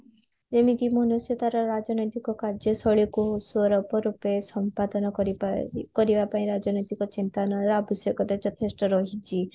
ମନୁଷ୍ୟ ତାର ରାଜନୀତିକ କାର୍ଯ୍ୟ ଶୈଳୀ କୁ ରୂପେ ସମ୍ପାଦନ କରିବା ପାଇଁ ରାଜନୀତିକ ଚିନ୍ତନ ର ଆବଶ୍ୟକତା ଯଥେଷ୍ଟ ରହିଚି